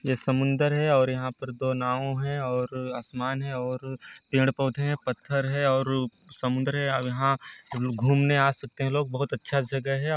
जे समुंदर है और यहाँ पर दो नाव है और आसमान है और पेड़- पौधे है पत्थर है और समुद्र है आउ यहाँ घूमने आ सकते है लोग बहुत अच्छा जगह है आ --